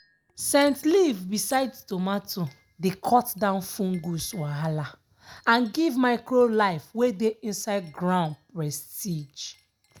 scent leaf beside tomato dey cut down fungus wahala and give micro life wey dey inside ground prestige.